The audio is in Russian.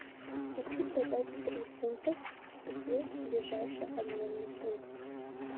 хочу продать три фунтов где ближайший обменный пункт